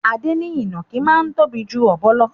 Adé ní ìnàkí máa ń tóbi ju ọ̀bọ lò.